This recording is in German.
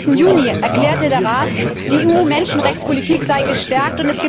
23. Juni erklärte der Rat, die EU Menschenrechtspolitik sei gestärkt.